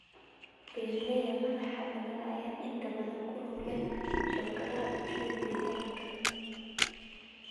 Beeralayda madaxbannaan ayaa inta badan ku lug leh shabakadaha bulshada deegaanka.